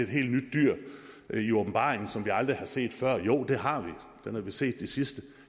helt nyt dyr i åbenbaringen som vi aldrig har set før jo det har vi den har vi set de sidste